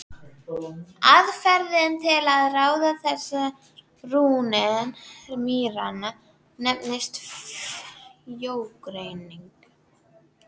Aðferðin til að ráða þessar rúnir mýranna nefnist frjógreining.